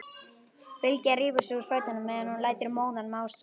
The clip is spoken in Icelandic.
Bylgja rífur sig úr fötunum meðan hún lætur móðan mása.